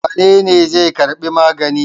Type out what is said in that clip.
Wane ne zai karbi magani?